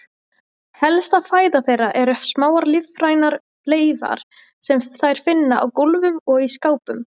Helsta fæða þeirra eru smáar lífrænar leifar sem þær finna á gólfum og í skápum.